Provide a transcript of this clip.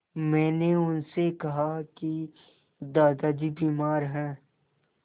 मैंने उनसे कहा कि दादाजी बीमार हैं